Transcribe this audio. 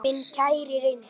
Minn kæri Reynir.